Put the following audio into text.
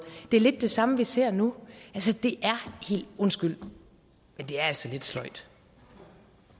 det er lidt det samme vi ser nu undskyld men det er altså lidt sløjt